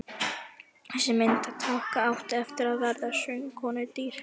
Þessi myndataka átti eftir að verða söngkonunni dýr.